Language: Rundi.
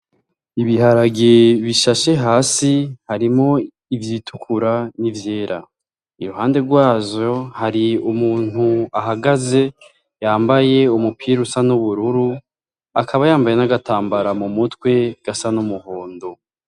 Ibiharagie bishashe hasi harimo ivyitukura n'ivyera i ruhande rwajo hari umuntu ahagaze yambaye umupira usa n'ubururu akaba yambaye n'agatambara mu mutwe gasa n'umuhondo.